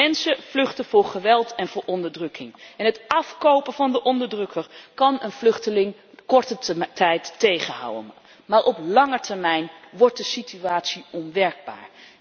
Mensen vluchten voor geweld en voor onderdrukking en het afkopen van de onderdrukker kan een vluchteling korte tijd tegenhouden, maar op lange termijn wordt de situatie onwerkbaar.